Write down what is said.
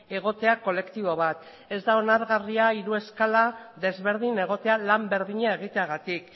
egotea kolektibo bat ez da onargarria hiru eskala desberdin egotea lan berdina egiteagatik